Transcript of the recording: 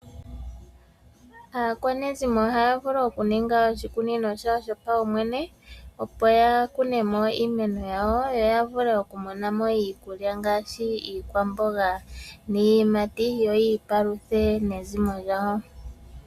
Aakwanezimo oha ya vulu okuninga oshikunino shawo shopawumwene, opo ya kunemo iimeno yawo yoya vulu okumonamo iikulya ngaashi iikwamboga niiyimati yo yi ipaluthe nezimo lyawo.